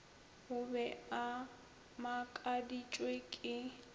o be a makaditšwe ke